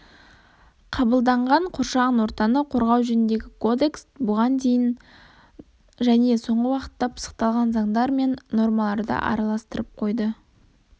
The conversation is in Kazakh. қабылданған қоршаған ортаны қорғау жөніндегі кодекс бұған дейінгі және соңғы уақытта пысықталған заңдар мен нормаларды астарластырып қойды